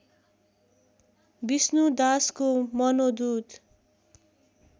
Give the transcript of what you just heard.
विष्णुदासको मनोदूत